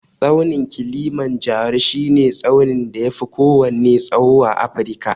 Tsaunin Kilimanjaro shi ne tsaunin da ya fi kowanne tsawo a Afrika